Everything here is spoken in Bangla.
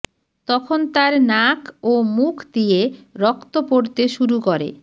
তখন তার নাক ও মুখ দিয়ে রক্ত পড়তে শুরু করে